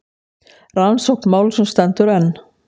Rannsókn málsins stendur enn.